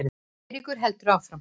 Eiríkur heldur áfram.